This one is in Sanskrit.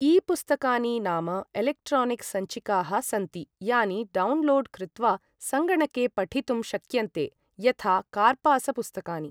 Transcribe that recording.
ई पुस्तकानि नाम एलेक्ट्रानिक् सञ्चिकाः सन्ति, यानि डौन्लोड् कृत्वा सङ्गणके पठितुं शक्यन्ते यथा कार्पासपुस्तकानि।